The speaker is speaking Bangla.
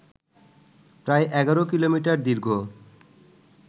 প্রায় ১১ কিলোমিটার দীর্ঘ